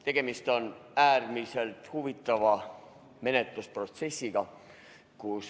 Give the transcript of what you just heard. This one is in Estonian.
Tegemist on äärmiselt huvitava menetlusprotsessiga.